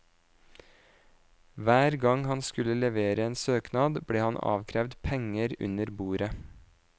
Hver gang han skulle levere en søknad, ble han avkrevd penger under bordet.